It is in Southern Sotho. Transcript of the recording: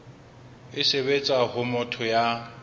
e sebetsa ho motho ya